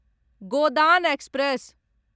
Godan express